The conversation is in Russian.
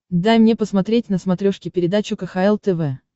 дай мне посмотреть на смотрешке передачу кхл тв